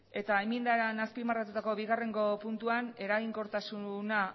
eta enmiendan azpimarratutako bigarrengo puntuan eraginkortasuna